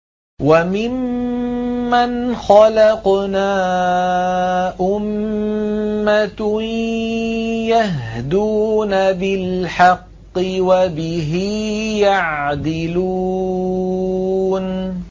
وَمِمَّنْ خَلَقْنَا أُمَّةٌ يَهْدُونَ بِالْحَقِّ وَبِهِ يَعْدِلُونَ